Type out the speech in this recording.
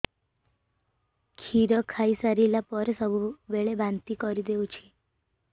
କ୍ଷୀର ଖାଇସାରିଲା ପରେ ସବୁବେଳେ ବାନ୍ତି କରିଦେଉଛି